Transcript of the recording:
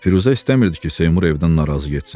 Firuzə istəmirdi ki, Seymur evdən narazı getsin.